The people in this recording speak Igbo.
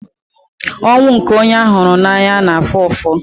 Ọnwụ nke onye a hụrụ n'anya na-afụ ụfụ.